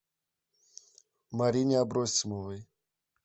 марине абросимовой